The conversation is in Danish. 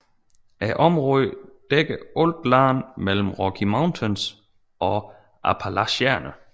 Området dækkede alt land mellem Rocky Mountains og Appalacherne